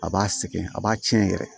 A b'a sɛgɛn a b'a tiɲɛ yɛrɛ